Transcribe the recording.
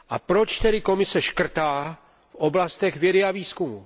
Proč tedy Komise škrtá v oblastech vědy a výzkumu?